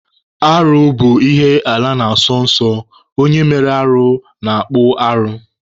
Arụ bụ ihe ala na-asọ nsọ, onye mere arụ na-akpụ arụ.